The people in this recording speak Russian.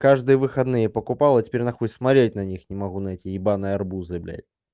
каждые выходные покупала теперь нахуй смотреть на них не могу на эти ебанные арбузы блять